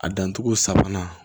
A dancogo sabanan